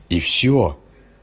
и всё